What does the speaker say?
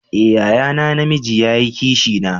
Eh, yaya na, na mijii ya yi Kishi na.